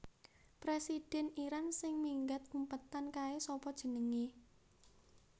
Presiden Iran sing minggat umpetan kae sapa jenenge?